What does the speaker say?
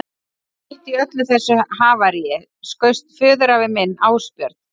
Mitt í öllu þessu havaríi skaust föðurafi minn, Ásbjörn